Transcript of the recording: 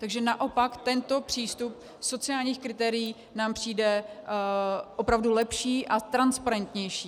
Takže naopak tento přístup sociálních kritérií nám přijde opravdu lepší a transparentnější.